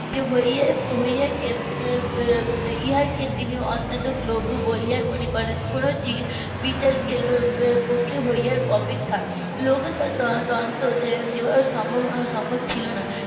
যে . ইহা কি তিনি অত্যন্ত গৌরবের বলে মনে করেন কোনো বিচার কে . হওয়ার অপেক্ষা . সম্ভব ছিল না